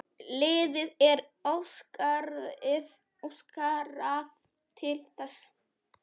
Liðið er ósigrað til þessa.